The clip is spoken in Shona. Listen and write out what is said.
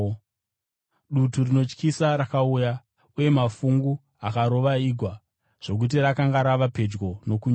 Dutu rinotyisa rakauya, uye mafungu akarova igwa, zvokuti rakanga rava pedyo nokunyura.